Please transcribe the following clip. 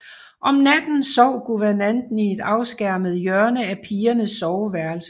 Om natten sov guvernanten i et afskærmet hjørne af pigernes soveværelse